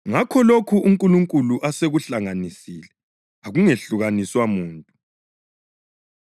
Ngakho, lokho uNkulunkulu asekuhlanganisile akungehlukaniswa muntu.”